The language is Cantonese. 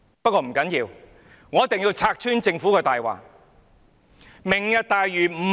不過，不要緊，我一定要拆穿政府的謊言。